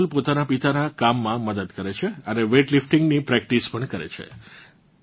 કાજોલ પોતાનાં પિતાનાં કામમાં મદદ કરે છે અને વેઇટ લિફ્ટીંગની પ્રેક્ટિસ પણ કરે છે